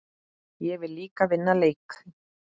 Ég vil líka vinna leiki.